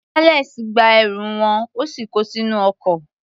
Alex gba ẹrù wọn, ó sì ko sínú ọkọ̀.